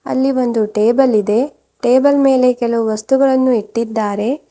ಅಲ್ಲಿ ಒಂದು ಟೇಬಲ್ ಇದೆ ಟೇಬಲ್ ಮೇಲೆ ಕೆಲವೊಂದು ವಸ್ತುಗಳನ್ನು ಇಟ್ಟಿದ್ದಾರೆ.